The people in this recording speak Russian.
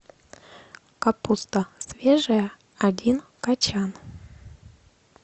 капуста свежая один кочан